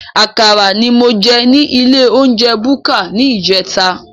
Àkàrà ní mo jẹ ní ilé olounjẹ búkà ní ìjẹta